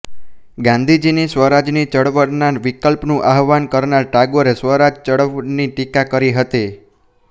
ગાંધીજીની સ્વરાજ ની ચળવળના વિકલ્પનું આહવાન કરનાર ટાગોરે સ્વરાજ ચળવળની ટીકા કરી હતી